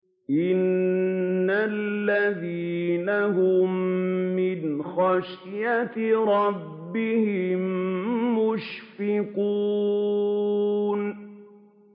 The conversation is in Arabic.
إِنَّ الَّذِينَ هُم مِّنْ خَشْيَةِ رَبِّهِم مُّشْفِقُونَ